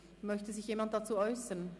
Möchte sich jemand dazu äussern?